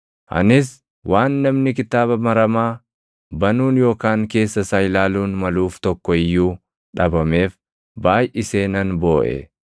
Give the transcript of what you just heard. Anis waan namni kitaaba maramaa banuun yookaan keessa isaa ilaaluun maluuf tokko iyyuu dhabameef baayʼisee nan booʼe.